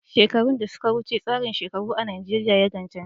Shekaru da suka wuce, tsarin shekaru a Najeriya ya ga canji.